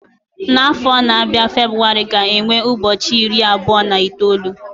N'afọ na-abịa February ga-enwe ụbọchị iri abụọ na itoolu